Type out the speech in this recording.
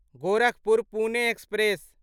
Gorakhpur Pune express